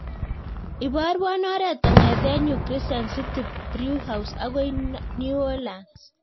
Iparwan oret kongeten yu crescent city brewhouse akoi new orleans